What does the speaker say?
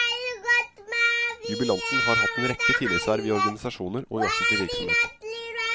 Jubilanten har hatt en rekke tillitsverv i organisasjoner og i offentlig virksomhet.